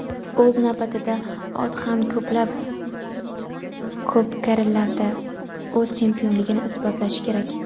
o‘z navbatida ot ham ko‘plab ko‘pkarilarda o‘z chempionligini isbotlashi kerak.